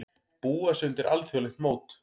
Búa sig undir alþjóðlegt mót